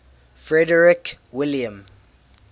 frederick william